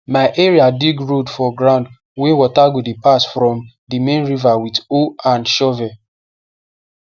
my area dig road for ground wey water go dey pass from di main river with hoe snd shovel